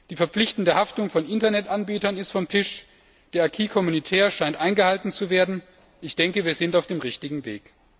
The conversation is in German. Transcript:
Die verpflichtende Haftung von Internet Anbietern ist vom Tisch, der acquis communautaire scheint eingehalten zu werden. Ich denke, wir sind auf dem richtigen Weg.